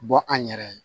Bɔ an yɛrɛ ye